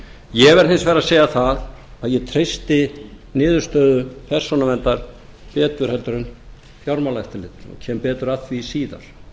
ég verð hins vegar að segja það að ég treysti niðurstöðu persónuverndar betur heldur en fjármálaeftirlitinu og kem betur að því síðar